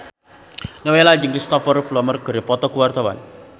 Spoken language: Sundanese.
Nowela jeung Cristhoper Plumer keur dipoto ku wartawan